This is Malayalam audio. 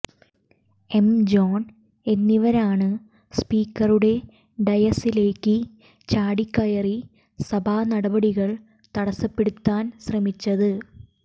എം ജോൺ എന്നിവരാണ് സ്പീക്കറുടെ ഡയസിലേക്ക് ചാടിക്കയറി സഭാനടപടികൾ തടസ്സപ്പെടുത്താൻ ശ്രമിച്ചത്